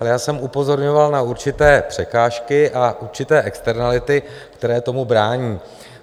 Ale já jsem upozorňoval na určité překážky a určité externality, které tomu brání.